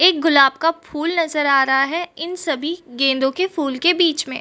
एक गुलाब का फूल नजर आ रहा है इन सभी गेंदों के फूल के बीच में।